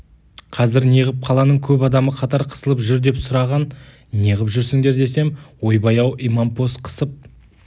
қазір неғып қаланың көп адамы қатар қысылып жүр деп сұраған неғып жүрсіңдер десем ойбай-ау имампос қысып